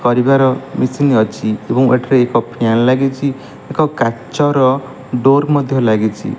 ହରିବାର machine ଅଛି ଏବଂ ଏଠାରେ ଏକ ଫ୍ୟାନ୍ ଲାଗିଚି ଏକ କାଚର ଡୋର୍ ମଧ୍ୟ ଲାଗିଚି।